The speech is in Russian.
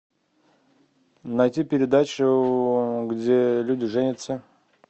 найти передачу где люди женятся